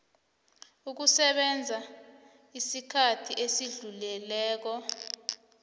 ukusebenza isikhathi esidluleleko